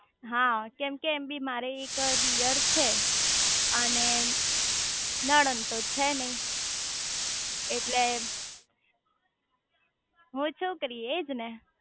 હા કેમ કે એમ બી મારે એક દિયર છે અને નણંદ તો છે ને એટલે હુંએજ ને